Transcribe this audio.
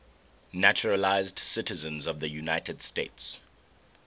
naturalized citizens of the united states